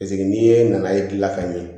Paseke n'i ye na ye gila ka ɲɛ